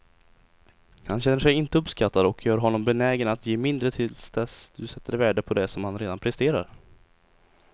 Han känner sig inte uppskattad och gör honom benägen att ge mindre till dess du sätter värde på det som han redan presterar.